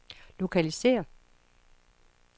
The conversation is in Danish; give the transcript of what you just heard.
lokalisér